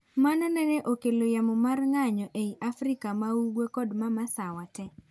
Mano nene okelo yamo mar ng'anyo ei Afrika maugwe kod mamasawa te.